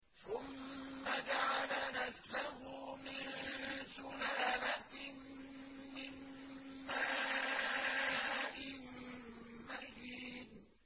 ثُمَّ جَعَلَ نَسْلَهُ مِن سُلَالَةٍ مِّن مَّاءٍ مَّهِينٍ